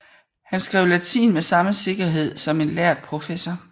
Han skrev latin med samme sikkerhed som en lærd professor